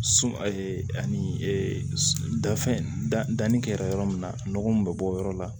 Sun ani da fɛn da danni kɛra yɔrɔ min na nɔgɔ min bɛ bɔ o yɔrɔ la